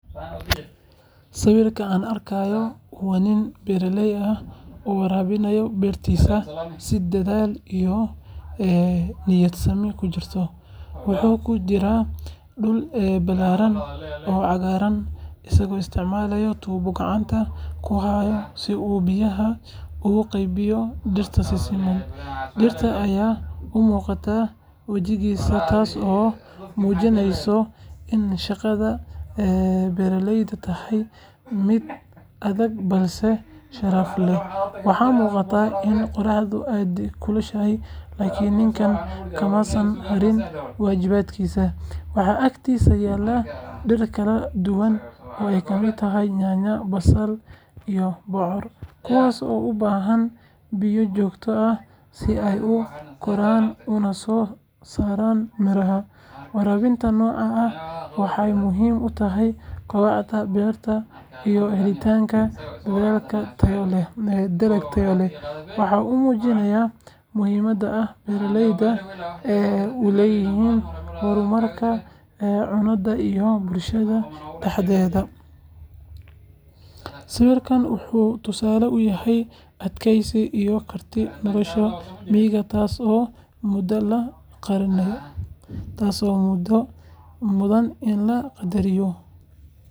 Sawirka aan arkayno waa nin beeraley ah oo waraabinaya beertiisa si dadaal iyo niyadsami ku jirto. Wuxuu ku jiraa dhul ballaaran oo cagaaran, isagoo isticmaalaya tuubo gacanta ku haya si uu biyaha ugu qaybiyo dhirta si siman. Dhidid ayaa ka muuqda wejigiisa taasoo muujinaysa in shaqada beeralaydu tahay mid adag balse sharaf leh. Waxaa muuqata in qorraxdu aad u kulushahay, laakiin ninkan kama uusan harin waajibaadkiisa. Waxaa agtiisa yaalla dhir kala duwan oo ay ka mid yihiin yaanyo, basal iyo bocor, kuwaas oo u baahan biyo joogto ah si ay u koraan una soo saaraan miraha. Waraabinta noocan ah waxay muhiim u tahay kobaca beerta iyo helitaanka dalag tayo leh. Waxa uu muujinayaa muhiimadda ay beeraleyda u leeyihiin horumarka cunnada ee bulshada dhexdeeda. Sawirkan wuxuu tusaale u yahay adkaysiga iyo kartida nolosha miyiga taasoo mudan in la qadariyo.